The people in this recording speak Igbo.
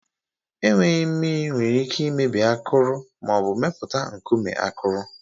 Enweghị mmiri nwere ike imebi akụrụ ma ọ bụ mepụta nkume akụrụ.